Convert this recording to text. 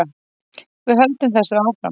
Við höldum þessu áfram